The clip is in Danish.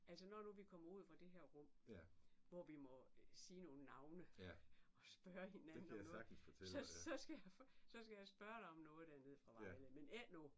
Altså når nu vi kommer ud fra det her rum hvor vi må sige nogle navne og spørge hinanden om noget så så skal jeg så skal jeg spørge dig om noget dernede fra Vejle men ikke nu